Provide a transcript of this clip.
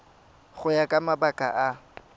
go ya ka mabaka a